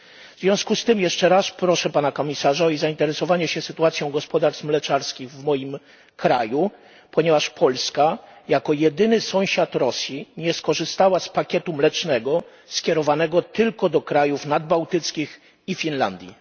W związku z tym jeszcze raz proszę Pana Komisarza o zainteresowanie się sytuacją gospodarstw mleczarskich w moim kraju, ponieważ Polska jako jedyny sąsiad Rosji nie skorzystała z pakietu mlecznego skierowanego tylko do krajów nadbałtyckich i Finlandii.